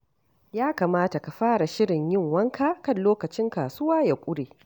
Ya kamata ka fara shirin yin wanka kar lokacin kasuwa ya ƙure.